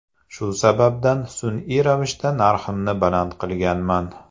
Shu sababdan sun’iy ravishda narximni baland qilganman.